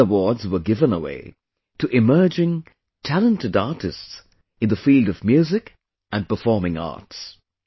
These awards were given away to emerging, talented artists in the field of music and performing arts